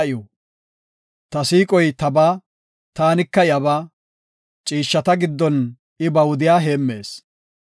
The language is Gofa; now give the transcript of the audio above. Ta siiqoy tabaa; taanika iyabaa; ciishshata giddon I ba wudiya heemmees.